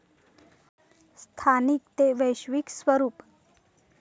स्थानिक ते वैश्विक स्वरूप